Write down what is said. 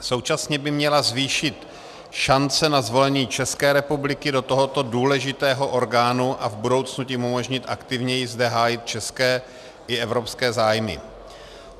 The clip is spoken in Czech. Současně by měla zvýšit šance na zvolení České republiky do tohoto důležitého orgánu a v budoucnu tím umožnit aktivněji zde hájit české i evropské zájmy.